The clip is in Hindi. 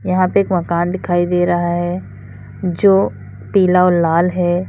यहां पे एक मकान दिखाई दे रहा है जो पीला और लाल है।